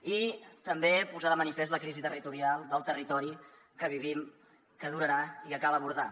i també posar de manifest la crisi territorial del territori que vivim que durarà i que cal abordar